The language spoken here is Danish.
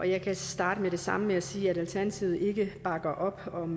jeg kan starte med det samme med at sige at alternativet ikke bakker op om